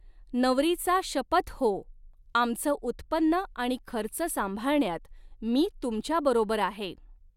नवरीचा शपथ हो, आमचं उत्पन्न आणि खर्च सांभाळण्यात मी तुमच्याबरोबर आहे.